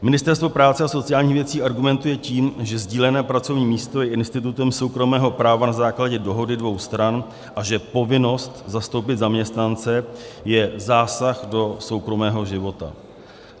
Ministerstvo práce a sociálních věcí argumentuje tím, že sdílené pracovní místo je institutem soukromého práva na základě dohody dvou stran a že povinnost zastoupit zaměstnance je zásah do soukromého života.